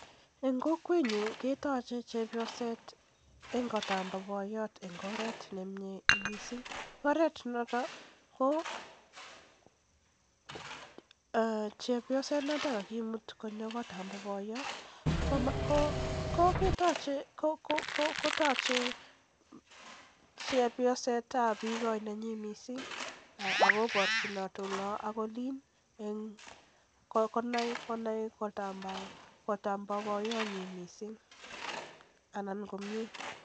En kokwenyun ketoche chepyoset en kotab boiyot en oret nemie missing, oret noto ko chepyoset nekakimut konyo kot bo boyot kotoche chepyoset ab bigoi missing akoborchinot olon ak olin konai kotab boyonyin komyie.